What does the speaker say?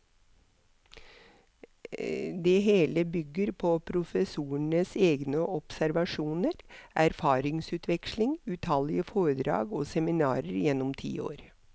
Det hele bygger på professorens egne observasjoner, erfaringsutveksling, utallige foredrag og seminarer gjennom ti år.